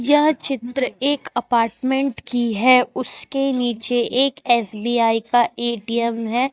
यह चित्र एक अपार्टमेंट की है उसके नीचे एक एस_बी_आई का ए_टी_एम है।